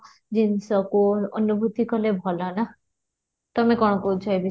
ଜିନିଷକୁ ଅନୁଭୂତି କଲେ ଭଲ ନା ତମେ କ'ଣ କହୁଛ ଏ ବିଷୟରେ?